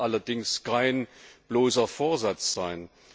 Das sollte allerdings kein bloßer Vorsatz sein.